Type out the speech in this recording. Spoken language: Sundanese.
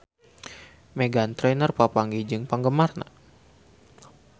Meghan Trainor papanggih jeung penggemarna